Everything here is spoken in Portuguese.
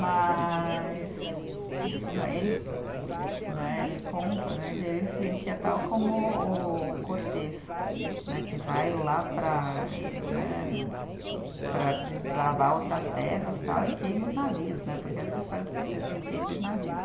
Mas isso né, ele, né, ele conta né que aí ele se sentia tal como o Cortês né, que vai lá para né, para desbravar outras terras, tal, e queima os navios né, porque essa é a história do Cortês, que ele queima os navios.